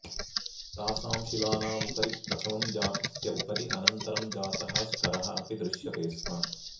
तासां शिलानाम् उपरि प्रथमं जातस्य उपरि अनन्तरं जातः स्तरः अपि दृश्यते स्म